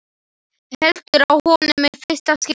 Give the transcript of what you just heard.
Heldur á honum í fyrsta skipti.